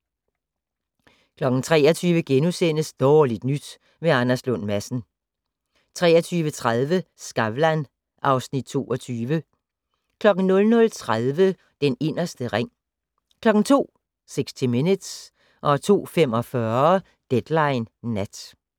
23:00: Dårligt nyt med Anders Lund Madsen * 23:30: Skavlan (Afs. 22) 00:30: Den inderste ring 02:00: 60 Minutes 02:45: Deadline Nat